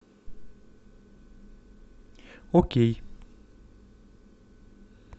окей